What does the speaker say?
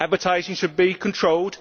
Advertising should be controlled.